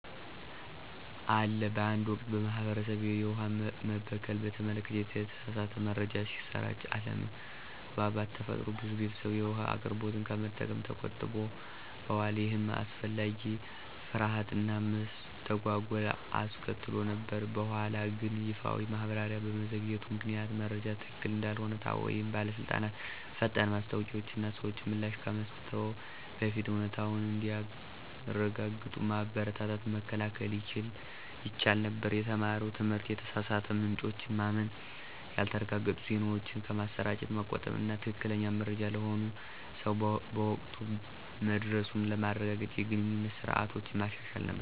አለ በአንድ ወቅት፣ በማህበረሰቤ፣ የውሃ መበከልን በተመለከተ የተሳሳተ መረጃ ሲሰራጭ አለመግባባት ተፈጠረ። ብዙ ቤተሰቦች የውሃ አቅርቦቱን ከመጠቀም ተቆጥበዋል, ይህም አላስፈላጊ ፍርሃት እና መስተጓጎል አስከትሎ ነበር። በኋላግን ይፋዊ ማብራሪያ በመዘግየቱ ምክንያት መረጃው ትክክል እንዳልሆነ ታወቀ። ይህ በባለስልጣናት ፈጣን ማስታወቂያዎች እና ሰዎች ምላሽ ከመስጠትዎ በፊት እውነታውን እንዲያረጋግጡ በማበረታታት መከላከል ይቻል ነበር። የተማረው ትምህርት የተሳሳቱ ምንጮችን ማመን፣ ያልተረጋገጡ ዜናዎችን ከማሰራጨት መቆጠብ እና ትክክለኛ መረጃ ለሁሉም ሰው በወቅቱ መድረሱን ለማረጋገጥ የግንኙነት ስርዓቶችን ማሻሻል ነበር።